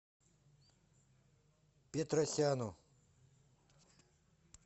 петросяну